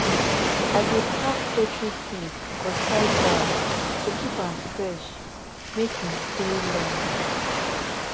i dey pack poultry feed for tight bag to keep am fresh make him stay longer